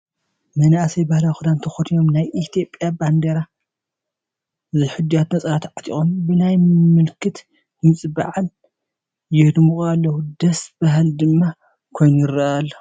መናእሰይ ባህላዊ ክዳን ተኸዲኖም፣ ናይ ኢትዮጵያ ባንዲራ ዝሕድያቱ ነፀላ ተዓጢቖም ብናይ መለኸት ድምፂ በዓል የድምቑ ኣለዉ፡፡ ደስ በሃሊ ድማ ኮይኑ ይርአ ኣሎ፡፡